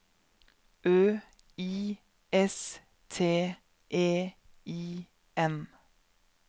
Ø I S T E I N